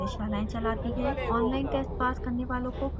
spoken tutorials का उपयोग करके कार्यशालाएं चलाती है